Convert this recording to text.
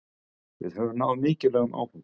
Við höfum náð mikilvægum áfanga